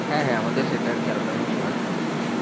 হ্যাঁ হ্যাঁ আমাদের সেটা আর কি আলাদা ভাবে provide করত তখন।